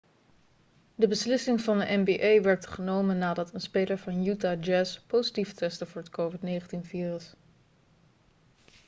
de beslissing van de nba werd genomen nadat een speler van utah jazz positief testte voor het covid-19-virus